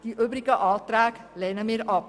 Die übrigen Anträge lehnen wir ab.